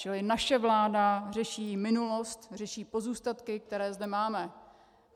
Čili naše vláda řeší minulost, řeší pozůstatky, které zde máme.